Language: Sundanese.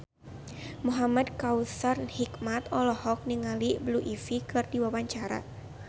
Muhamad Kautsar Hikmat olohok ningali Blue Ivy keur diwawancara